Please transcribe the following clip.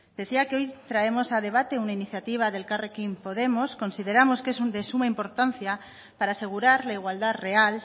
decía que hoy traemos a debate una iniciativa de elkarrekin podemos consideramos que es de suma importancia para asegurar la igualdad real